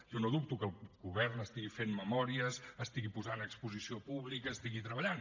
jo no dubto que el govern estigui fent memòries estigui posant a exposició pública estigui treballant